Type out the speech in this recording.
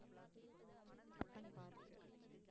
Cubbon park